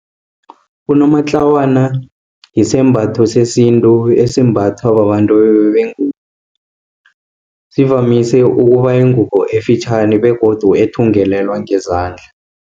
Unomatlawana yisimbatho sesintu, esimbathwa babantu bengubo. Sivamise ukuba yingubo esifitjhani, begodu ethungelelwa ngezandla.